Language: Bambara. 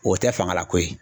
O tɛ fanga la ko ye